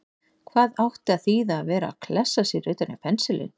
Hvað átti að þýða að vera að klessa sér utan í pensilinn!